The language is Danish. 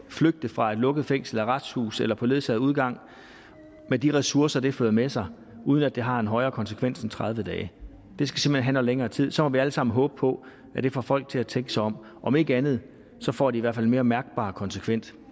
flygte fra et lukket fængsel arresthus eller på ledsaget udgang med de ressourcer det fører med sig uden at det har en højere konsekvens end tredive dage det skal simpelt hen have noget længere tid så må vi alle sammen håbe på at det får folk til at tænke sig om om ikke andet får det i hvert fald en mere mærkbar konsekvens